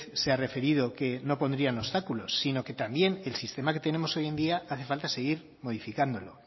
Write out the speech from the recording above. se ha referido que no pondrían obstáculos sino que también el sistema que tenemos hoy en día hace falta seguir modificándolo